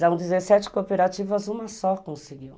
das dezessete cooperativas, uma só conseguiu.